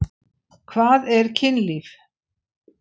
Hvað er kynlíf?